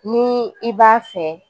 Ni i b'a fɛ